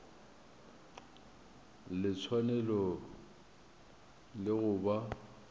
le tshwanelo ya go ba